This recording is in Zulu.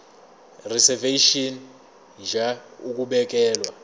reservation ngur ukubekelwa